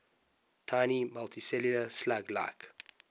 tiny multicellular slug like